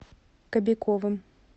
кобяковым